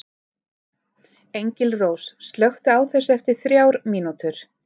Engilrós, slökktu á þessu eftir þrjár mínútur.